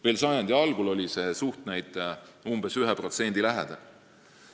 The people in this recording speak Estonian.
Veel sajandi algul oli see suhtnäitaja 1% lähedal.